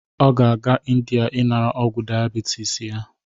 Ọ ga-aga Ịndia inara ọgwu diabitis ya.